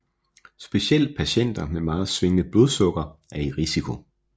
Specielt patienter med meget svingende blodsukker er i risiko